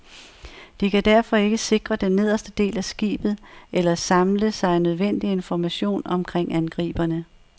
De kan derfor ikke sikre den nederste del af skibet eller samle sig nødvendig information omkring angriberne.